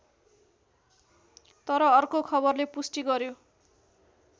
तर अर्को खबरले पुष्टि गर्‍यो